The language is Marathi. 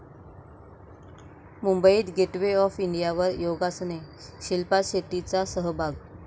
मुंबईत गेटवे ऑफ इंडियावर योगासने, शिल्पा शेट्टीचा सहभाग